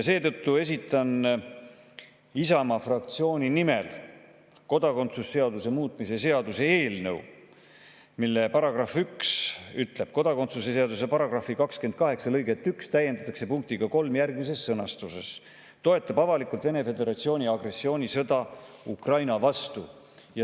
Seetõttu esitan Isamaa fraktsiooni nimel kodakondsuse seaduse muutmise seaduse eelnõu, mille § 1 ütleb: "Kodakondsuse seaduse § 28 lõiget 1 täiendatakse punktiga 3 järgmises sõnastuses: "toetab avalikult Vene Föderatsiooni agressioonisõda Ukraina vastu."